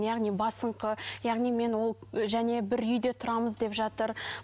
яғни басыңқы яғни мен ол және бір үйде тұрамыз деп жатыр